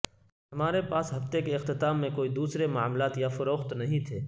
ہمارے پاس ہفتے کے اختتام میں کوئی دوسرے معاملات یا فروخت نہیں تھے